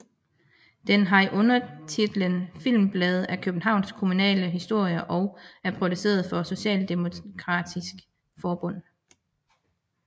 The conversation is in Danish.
Den har undertitlen Filmsblade af Københavns kommunale Historie og er produceret for Socialdemokratisk Forbund